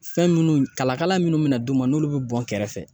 Fɛn minnu kalakala munnu mina d'u ma n'olu bi bɔn kɛrɛfɛ